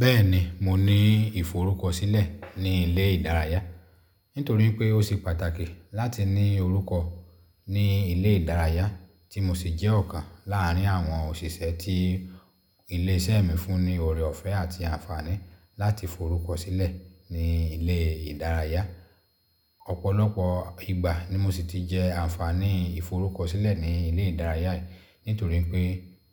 Bẹ́ẹ̀ni, mo ní ìforúkọ sílẹ̀ ní ilé ìdárayá. Nítorí pé ó ṣe pàtàkì láti ní orúkọ ní ilé ìdárayá tí mo sì jẹ́ ọ̀kan láàrín àwọn òṣìṣẹ́ tí ilé iṣẹ́ mi fún ní ọ̀rẹ́ ọ̀fẹ́ àti àǹfààní láti forúkọ sílẹ̀ ní ilé ìdárayá. Ọ̀pọ̀lọpọ̀ ìgbà ni mo sì ti jẹ àǹfààní ìforúkọ sílẹ̀ ní ilé ìdárayá. Nítorí pé